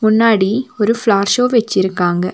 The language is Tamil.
முன்னாடி ஒரு பிளார்ஷோ வச்சிருக்காங்க.